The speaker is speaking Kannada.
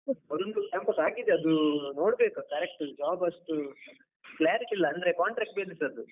ಅದೊಂದು campus ಆಗಿದೆ, ಅದು ನೋಡ್ಬೇಕು correct job ಅಷ್ಟು clarity ಇಲ್ಲ ಅಂದ್ರೆ contract based ಅದು.